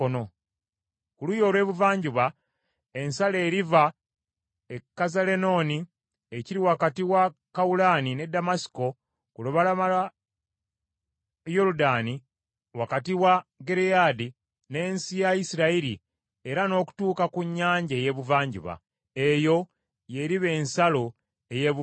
Ku luuyi olw’ebuvanjuba ensalo eriva e Kazalenooni ekiri wakati wa Kawulaani ne Ddamasiko ku lubalama lwa Yoludaani wakati wa Gireyaadi n’ensi ya Isirayiri era n’okutuuka ku nnyanja ey’Ebuvanjuba. Eyo y’eriba ensalo ey’Ebuvanjuba.